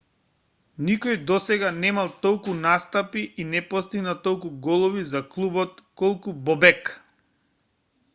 никој досега немал толку настапи и не постигнал толку голови за клубот колку бобек